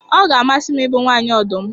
Ọ ga-amasị m ịbụ nwanyị ọdụm